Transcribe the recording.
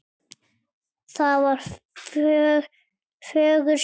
Það var fögur sjón.